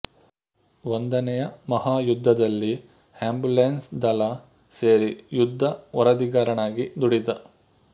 ಒಂದನೆಯ ಮಹಾಯುದ್ಧದಲ್ಲಿ ಆ್ಯಂಬುಲೆನ್ಸ್ ದಳ ಸೇರಿ ಯುದ್ಧ ವರದಿಗಾರನಾಗಿ ದುಡಿದ